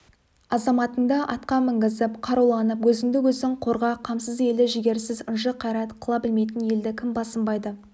азаматыңды атқа мінгізіп қаруланып өзіңді-өзің қорға қамсыз елді жігерсіз ынжық қайрат қыла білмейтін елді кім басынбайды